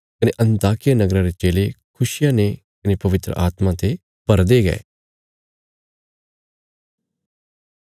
कने अन्ताकिया नगरा रे चेले खुशिया ने कने पवित्र आत्मा ते भरदे गये